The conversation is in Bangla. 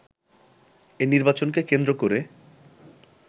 এ নির্বাচনকে কেন্দ্র করে